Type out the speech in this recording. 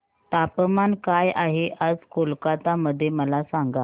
तापमान काय आहे आज कोलकाता मध्ये मला सांगा